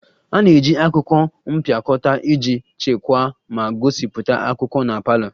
A na-eji akwụkwọ mpịakọta iji chekwaa ma gosipụta akwụkwọ na parlour